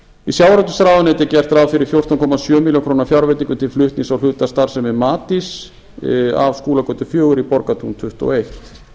við sjávarútvegsráðuneyti er gert ráð fyrir fjórtán komma sjö milljóna fjárveitingu til flutnings og hlutastarfsemi mat af skúlagötu fjögur í borgartún tuttugu og